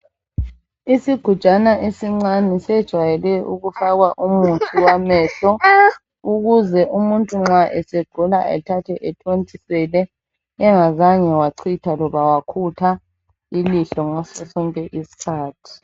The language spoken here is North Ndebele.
Isigujana esincane sejwayele ukufaka umuthi wamehlo ukuze umuntu nxa esegula athathe ethontisele angazange wachitha loba wakhipha ilihlo ngaso sonke isikhathi.